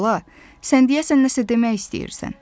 Bala, sən deyəsən nəsə demək istəyirsən.